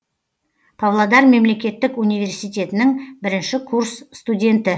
павлодар мемлекеттік университетінің бірінші курс студенті